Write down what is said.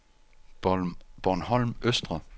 Bornholm Østre